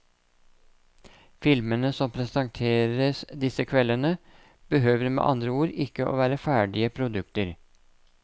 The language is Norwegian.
Filmene som presenteres disse kveldene behøver med andre ord ikke være ferdige produkter.